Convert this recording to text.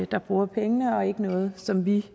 der bruger pengene og ikke noget som vi